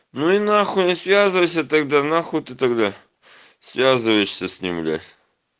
ну и нахуй связывайся тогда на х ты тогда связываешься с ним бля